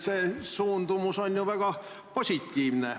See suundumus on ju väga positiivne.